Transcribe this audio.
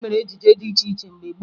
E mere ejije dị iche iche mgbe gboo